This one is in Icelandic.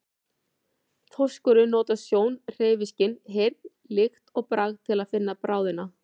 Þorskurinn notar sjón, hreyfiskyn, heyrn, lykt og bragð til að finna bráðina.